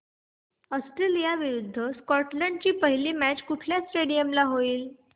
Australia विरुद्ध Scotland ची पहिली मॅच कुठल्या स्टेडीयम ला होईल